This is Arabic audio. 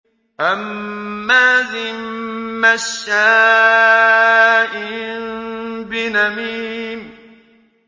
هَمَّازٍ مَّشَّاءٍ بِنَمِيمٍ